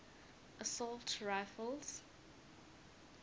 assault rifles